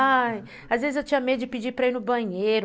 Ai, às vezes eu tinha medo de pedir para ir no banheiro.